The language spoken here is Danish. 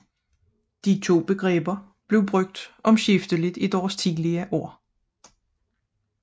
De to begreber blev brugt omskifteligt i deres tidligere år